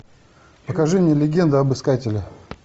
покажи мне легенда об искателе